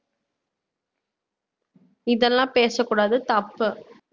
இதெல்லாம் பேசக்கூடாது தப்பு